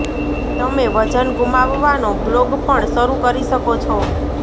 તમે વજન ગુમાવવાનો બ્લોગ પણ શરૂ કરી શકો છો